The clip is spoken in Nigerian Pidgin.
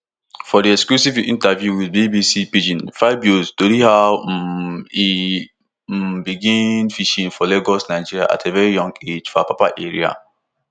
for di exclusive interview wit bbc pidgin fabio tori how um e um begin im fishing for lagos nigeria at a veri young age for apapa area